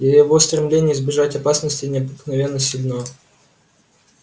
его стремление избежать опасности необыкновенно сильно